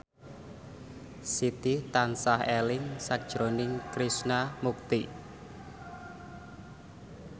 Siti tansah eling sakjroning Krishna Mukti